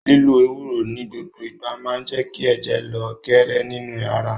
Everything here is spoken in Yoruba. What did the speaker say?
Lílo Ewúró ni gbogbo ìgbà máa je kí ẹ̀jẹ̀ lọ geere nínú ara